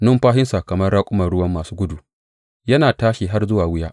Numfashinsa kamar raƙuman ruwa masu gudu yana tashi har zuwa wuya.